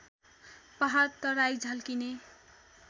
पहाड तराई झल्किने